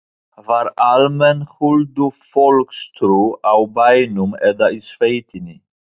Var almenn huldufólkstrú á bænum eða í sveitinni?